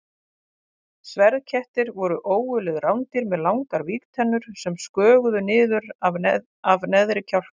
Sverðkettir voru ógurleg rándýr með langar vígtennur sem sköguðu niður af neðri kjálka.